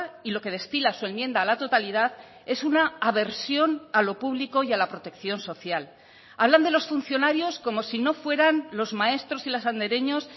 y lo que destila su enmienda a la totalidad es una aversión a lo público y a la protección social hablan de los funcionarios como si no fueran los maestros y las andereños